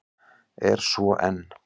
Er svo enn.